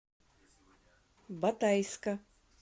батайска